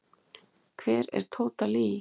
Hver er Tóta Lee?